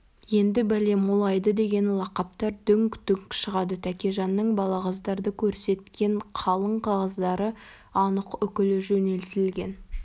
енді бәле молайды деген лақаптар дүңк-дүңк шығады тәкежанның балағаздарды көрсеткен қалың қағаздары анық үкілі жөнелтілген